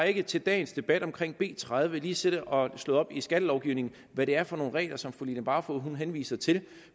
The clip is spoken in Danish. ikke til dagens debat omkring b tredive lige har siddet og slået op i skattelovgivningen hvad det er for nogle regler som fru line barfod henviser til